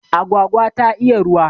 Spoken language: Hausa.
Agwagwa ta iya ruwa